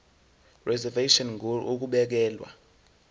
reservation ngur ukubekelwa